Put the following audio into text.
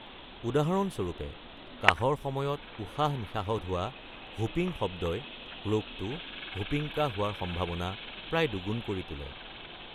উদাহৰণস্বৰূপে, কাহৰ সময়ত উশাহ-নিশাহত হোৱা "হুপিং" শব্দই ৰোগটো হুপিং কাহ হোৱাৰ সম্ভাৱনা প্ৰায় দুগুণ কৰি তোলে।